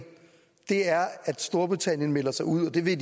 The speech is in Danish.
er at storbritannien melder sig ud og det vil